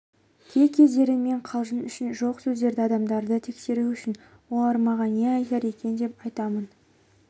кей-кездері мен қалжың үшін жоқ сөздерді адамдарды тексеру үшін олар маған не айтар екен деп айтамын